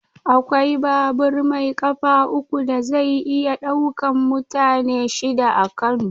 Akwai babur mai ƙafa uku da zai iya ɗaukan mutane shida a Kano.